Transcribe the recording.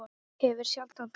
Hefur sjaldan þorað það.